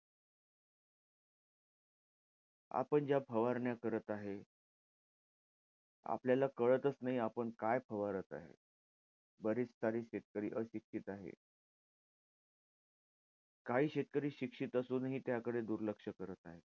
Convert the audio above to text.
आपण ज्या फवारण्या करत आहे. आपल्याला कळतचं नाही आपण काय फवारात आहे. बरेच सारे शेतकरी अशिक्षित आहे. काही शेतकरी शिक्षित असूनही त्याकडे दुर्लक्ष करतात.